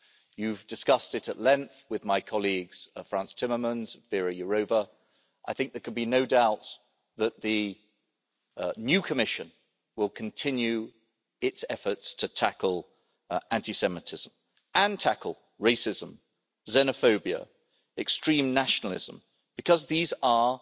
You've discussed it at length with my colleagues Frans Timmermans and Věra Jourová, and I think there can be no doubt that the new Commission will continue its efforts to tackle anti Semitism and tackle racism, xenophobia and extreme nationalism because these are